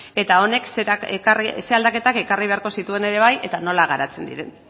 eta honek zein aldaketak ekarri beharko zituen ere bai eta nola garatzen diren